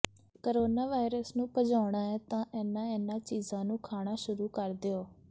corona virus ਨੂੰ ਭਜਾਉਣਾ ਹੈ ਤਾਂ ਇਹਨਾਂ ਇਹਨਾਂ ਚੀਜਾਂ ਨੂੰ ਖਾਣਾ ਸ਼ੁਰੂ ਕਰ ਦਿਓ